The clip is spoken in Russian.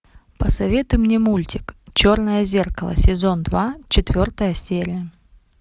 посоветуй мне мультик черное зеркало сезон два четвертая серия